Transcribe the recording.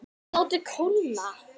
Látið kólna.